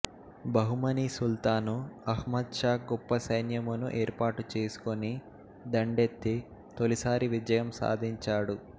బహుమనీ సుల్తాను అహ్మద్ షా గొప్ప సైన్యమును ఏర్పాటుచేసుకోని దండెత్తి తొలి సారి విజయం సాధించాడు